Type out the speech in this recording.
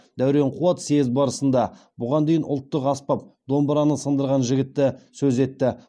дәурен қуат съезд барысында бұған дейін ұлттық аспап домбыраны сындырған жігітті сөз етті